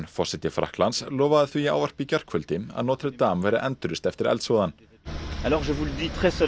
forseti Frakklands lofaði því í ávarpi í gærkvöldi að Notre Dame verði endurreist eftir eldsvoðann þegar